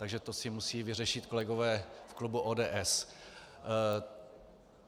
Takže to si musí vyřešit kolegové v klubu ODS.